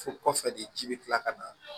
Fo kɔfɛ de ji bɛ kila ka na